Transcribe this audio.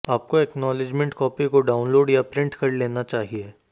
आपको acknowledgement copy को download या प्रिंट कर लेना चाहिए